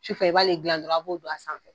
Su fɛ i b'ale dilan dɔrɔnw a b'o don a sanfɛ.